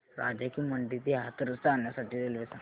राजा की मंडी ते हाथरस जाण्यासाठी रेल्वे सांग